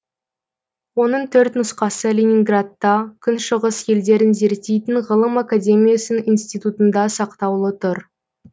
оның төрт нұсқасы ленинградта күншығыс елдерін зерттейтін ғылым академиясының институтында сақтаулы тұр